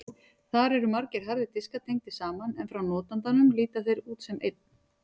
Þar eru margir harðir diskar tengdir saman en frá notandanum líta þeir út sem einn.